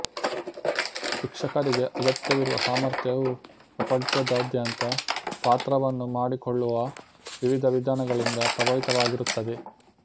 ಶಿಕ್ಷಕರಿಗೆ ಅಗತ್ಯವಿರುವ ಸಾಮರ್ಥ್ಯವು ಪ್ರಪಂಚದಾದ್ಯಂತ ಪಾತ್ರವನ್ನು ಅರ್ಥಮಾಡಿಕೊಳ್ಳುವ ವಿವಿಧ ವಿಧಾನಗಳಿಂದ ಪ್ರಭಾವಿತವಾಗಿರುತ್ತದೆ